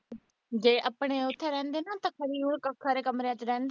ਜ ਆਪਣੇ ਉਥੇ ਰਹਿੰਦੇ ਨਾ ਤੇ ਕਮਰਿਆਂ ਦੇ ਰਹਿੰਦੇ ਨੇ